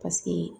Paseke